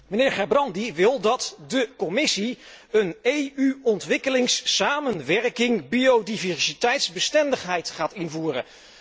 Mijnheer Gerbrandy wil dat de Commissie voor de EU ontwikkelingssamenwerking biodiversiteitsbestendigheid gaat invoeren.